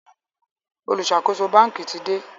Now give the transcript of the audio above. oluṣakoso banki tí dé